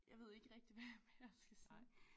Jeg ved ikke rigtig hvad jeg mere skal sige